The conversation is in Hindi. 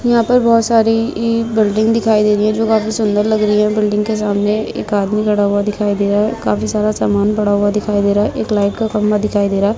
यहाँं पर बोहोत सारी इ बिल्डिंग दिखाई दे रही हैं जो काफी सुंदर लग रही है। बिल्डिंग के सामने एक आदमी खड़ा हुआ दिखाई दे रहा है। काफी सारा सामान पड़ा हुआ दिखाई दे रहा हैं। एक लाइट का खंबा दिखाई दे रहा है।